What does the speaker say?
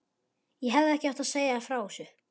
Ég hefði ekki átt að segja þér frá þessu